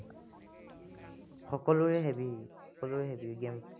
সকলোৰে heavy সকলোৱে heavy game